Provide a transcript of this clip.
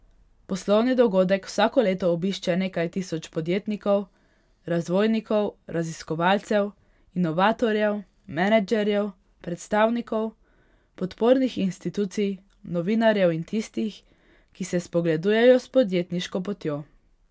Poslovni dogodek vsako leto obišče nekaj tisoč podjetnikov, razvojnikov, raziskovalcev, inovatorjev, menedžerjev, predstavnikov podpornih institucij, novinarjev in tistih, ki se spogledujejo s podjetniško potjo.